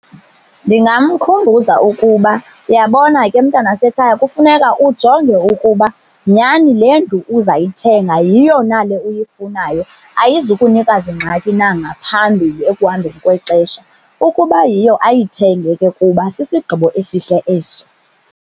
Ndingamkhumbuza ukuba, uyabona ke mntanasekhaya kufuneka ujonge ukuba nyani le ndlu uzayithenga yiyo na le uyifunayo, ayizukunika zingxaki na ngaphambili ekuhambeni kwexesha. Ukuba yiyo ayithenge ke kuba sisigqibo esihle eso.